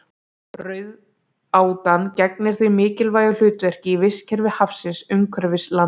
Rauðátan gegnir því mikilvægu hlutverki í vistkerfi hafsins umhverfis landið.